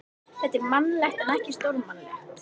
Þetta er mannlegt en ekki stórmannlegt.